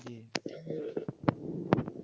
জি